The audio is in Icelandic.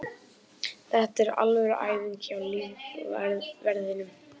Þetta er alvöru æfing hjá lífverðinum.